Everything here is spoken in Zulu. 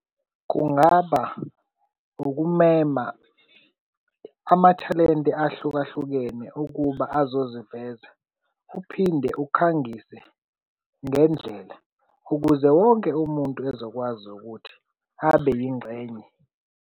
Kungaba ukumema amathalente ahlukahlukene ukuba azozivela. Uphinde ukhangise ngendlela ukuze wonke umuntu ezokwazi ukuthi abe yingxenye.